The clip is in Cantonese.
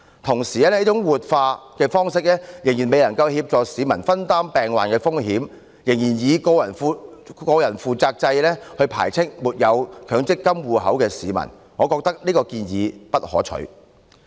同時，這種活化方式仍然未能協助市民分擔病患的風險，仍然以個人負責制排斥沒有強積金戶口的市民，我認為這項建議並不可取。